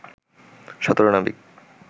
১৭ নাবিক